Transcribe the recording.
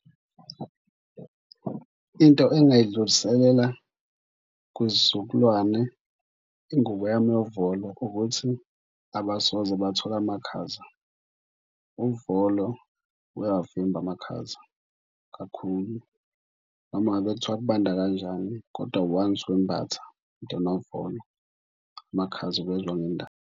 Into engingayidluliselela kwisizukulwane ingubo yami yovolo ukuthi abasoze bathola amakhaza. Uvolo uyawavimba amakhaza kakhulu noma ngabe kuthiwa kubanda kanjani, kodwa once wembatha into enovolo amakhaza uwezwa ngendaba.